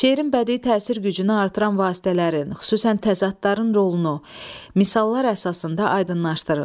Şeirin bədii təsir gücünü artıran vasitələrin, xüsusən təzadların rolunu misallar əsasında aydınlaşdırın.